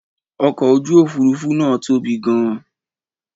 Ọkọ̀ ojú òfuurufú náà tóbi gan.